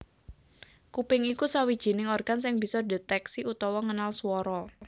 Kuping iku sawijining organ sing bisa ndhetèksi utawa ngenal swara